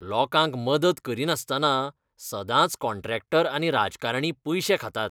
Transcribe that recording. लोकांक मदत करिनासतना सदांच कॉन्ट्रॅक्टर आनी राजकारणी पयशे खातात.